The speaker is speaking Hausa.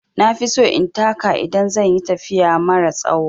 Na fi so in taka idan zan yi tafiya mara tsawo.